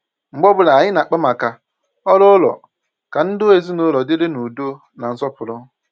mgbe ọbụla anyị na-akpa maka orù ụlọ ka ndụ ezinụlọ dịrị n’ùdọ̀ na nsọpụrụ.